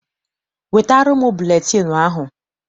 Wetara m buletịịnụ ahụ!